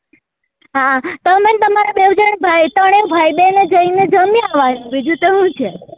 હા તમે ને તમારા બેઉ જના ભાઈ ત્રણેય ભાઈ બેન એ જી ને જમી આવવા નું બીજું તો હું છે